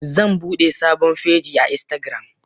Zanbude sabon feji a instagram.